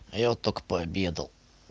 а я вот только пообедал